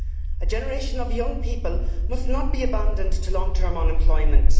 A generation of young people must not be abandoned to long term unemployment.